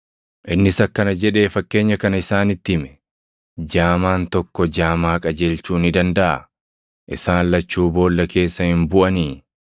Innis akkana jedhee fakkeenya kana isaanitti hime; “Jaamaan tokko jaamaa qajeelchuu ni dandaʼaa? Isaan lachuu boolla keessa hin buʼanii?